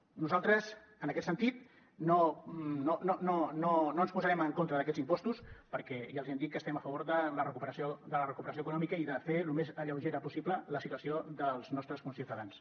nosaltres en aquest sentit no ens posarem en contra d’aquests impostos perquè ja els hem dit que estem a favor de la recuperació econòmica i de fer lo més lleugera possible la situació dels nostres conciutadans